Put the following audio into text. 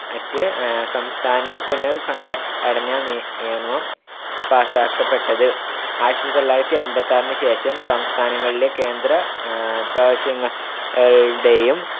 at ആഹ് സംസ്ഥാന പുനർ‌സംഘടനാ നിയമം പാസാക്കപ്പെട്ടത്. ആയിരത്തിതൊള്ളായിരത്തിഅമ്പത്തിയാറിന് ശേഷം സംസ്ഥാനങ്ങളിലെ കേന്ദ്ര ആഹ് പ്രവശ്യങ്ങളുടെയും